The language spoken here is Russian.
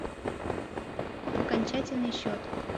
окончательный счет